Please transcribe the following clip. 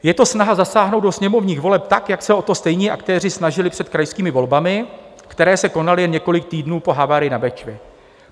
Je to snaha zasáhnout do sněmovních voleb tak, jak se o to stejní aktéři snažili před krajskými volbami, které se konaly jen několik týdnů po havárii na Bečvě.